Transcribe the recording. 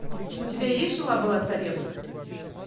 у тебя есть жила была царевна